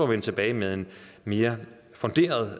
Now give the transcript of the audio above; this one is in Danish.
vende tilbage med et mere funderet